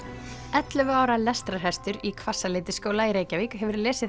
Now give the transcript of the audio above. ellefu ára lestrarhestur í Hvassaleitisskóla í Reykjavík hefur lesið